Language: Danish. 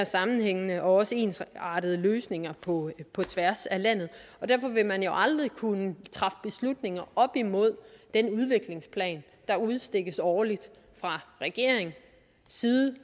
sammenhængende og også ensartede løsninger på på tværs af landet derfor vil man jo aldrig kunne træffe beslutninger op imod den udviklingsplan der udstikkes årligt fra regeringens side